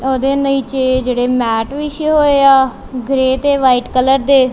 ਓਹਦੇ ਨੀਚੇ ਜਿਹੜੇ ਮੈਟ ਵਿੱਛੇ ਹੋਏ ਆ ਗ੍ਰੇ ਤੇ ਵ੍ਹਾਈਟ ਕਲਰ ਦੇ --